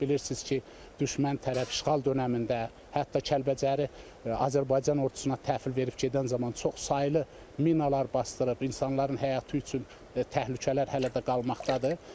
Bilirsiniz ki, düşmən tərəf işğal dönəmində hətta Kəlbəcəri Azərbaycan ordusuna təhvil verib gedən zaman çoxsaylı minalar basdırıb, insanların həyatı üçün təhlükələr hələ də qalmaqdadır.